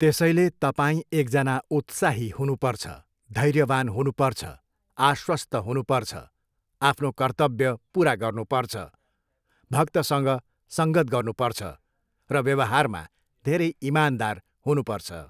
त्यसैले तपाईँ एकजना उत्साही हुनुपर्छ, धैर्यवान हुनुपर्छ, आश्वस्त हुनुपर्छ, आफ्नो कर्तव्य पुरा गर्नुपर्छ, भक्तसँग सङ्गत गर्नुपर्छ र व्यवहारमा धेरै इमानदार हुनुपर्छ।